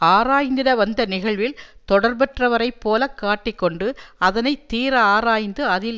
ஆராய்ந்திட வந்த நிகழ்வில் தொடர்பற்றவரைப் போலக் காட்டி கொண்டு அதனை தீர ஆராய்ந்து அதில்